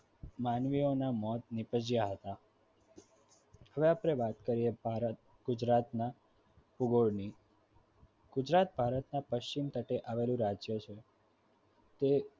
માનવીઓના મોત નિપજયા હતા હવે આપણે વાત કર્યે ભારત ગુજરાતમાં ભૂગોળની ગુજરાત ભારતના પશ્ચિમ તટે આવેલું રાજ્ય છે તે